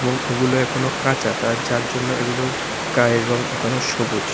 এবং এগুলো এখনো কাঁচা তার যার জন্য এগুলোর গায়ের রং এখনো সবুজ।